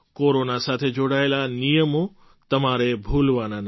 corona સાથે જોડાયેલા નિયમો તમારે ભૂલવાના નથી